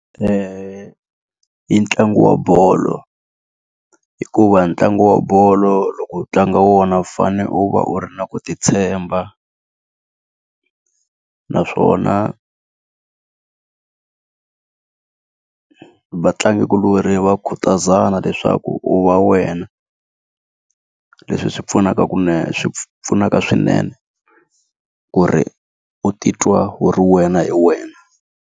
I ntlangu wa bolo. Hikuva ntlangu wa bolo loko u tlanga wona u fanele u va u ri na ku ti tshemba. Naswona vatlangikulorhi va khutazana leswaku u va wena. Leswi swi pfunaka ku swi pfunaka swinene ku ri u titwa wu ri wena hi wena.